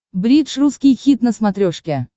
бридж русский хит на смотрешке